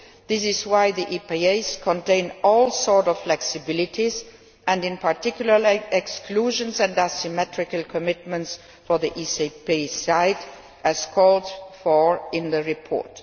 This is why the EPAs contain all sorts of flexibilities, and in particular exclusions and asymmetrical commitments for the ACP side, as called for in the report.